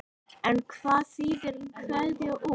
En hvað þýðir kveða úr?